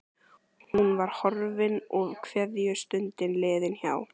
Hún var horfin og kveðjustundin liðin hjá.